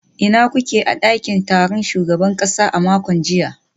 Ina kuke a dakin taron shugaban kasa a makon jiya?